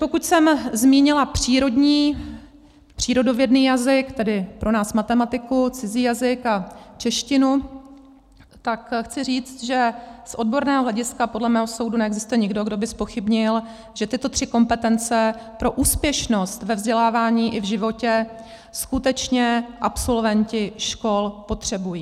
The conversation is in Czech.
Pokud jsem zmínila přírodní, přírodovědný jazyk, tedy pro nás matematiku, cizí jazyk a češtinu, tak chci říct, že z odborného hlediska podle mého soudu neexistuje nikdo, kdo by zpochybnil, že tyto tři kompetence pro úspěšnost ve vzdělávání i v životě skutečně absolventi škol potřebují.